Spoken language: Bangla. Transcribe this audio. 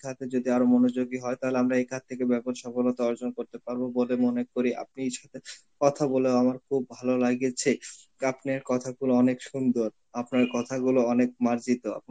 খাতে যদি আরো মনোযোগী হয় তাহলে আমরা খাত থেকে ব্যবরসা গুলোতে অর্জন করতে পারব বলে মনে করি, আপনির সাথে কথা বলে আমার খুব ভালো লাগেছে. আপনের কথাগুলো অনেক সুন্দর, আপনার কথাগুলো অনেক মার্জিত,